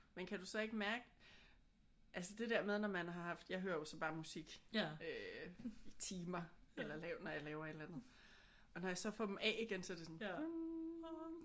Men kan du så ikke mærke altså det der med at når man har haft jeg hører jo så bare musik øh i timer eller laver når jeg laver et eller andet. Og når jeg så får dem af igen så er det sådan ah